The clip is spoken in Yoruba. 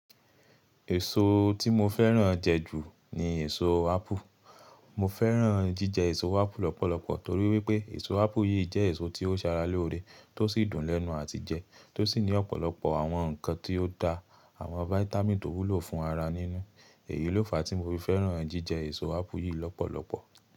Èso tí mo fẹ́ràn jẹ ju ni èso ápù. Mo fẹ́ràn jíjẹ èso ápù lọ́pọ̀lọpọ̀ torí wípé èso ápù yìí jẹ́ èso tí ó sara lóore, tó sì dùn lẹ́nu àti jẹ, tó sì ní ọ̀pọ̀lọpọ̀ àwọn ǹkan tí ó da àwọn fáítámì tó wúlò fún ara nínú. Èyí ló fa tí mo fi fẹ́ràn jíjẹ èso ápù yìí lọ́pọ̀lọpọ̀.